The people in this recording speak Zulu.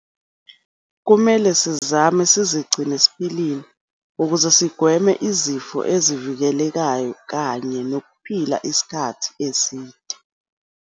Kumele sizame sizigcine siphilile ukuze sigweme izifo ezivikelekayo kanye nokuphila isikhathi eside.